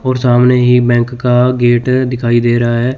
और सामने ही बैंक का गेट दिखाई दे रहा है।